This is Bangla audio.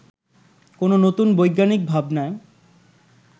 কোনো নতুন বৈজ্ঞানিক ভাবনায়